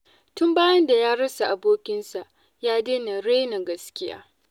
Tun bayan da ya rasa abokinsa, ya daina raina gaskiya.